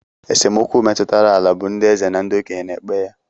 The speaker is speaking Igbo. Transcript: Esemokwu metụtara ala bụ ndị eze na okenye na-ekpe ya